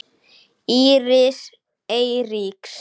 Íris Eiríks.